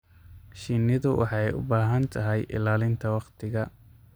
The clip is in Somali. Shinnidu waxay u baahan tahay ilaalinta waqtiga.